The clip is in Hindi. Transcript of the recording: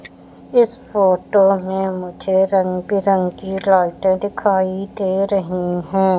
इस फोटो में मुझे रंग बिरंगी लाइटें दिखाई दे रही है।